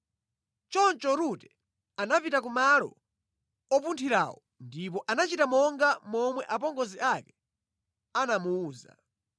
Choncho Rute anapita ku malo opunthirawo ndipo anachita monga momwe apongozi ake anamuwuza.